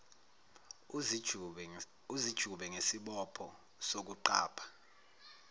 uzijube ngesibopho sokuqapha